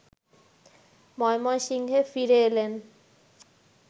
ময়মনসিংহে ফিরে এলেন